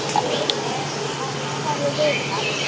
Ef ég hefði vitað.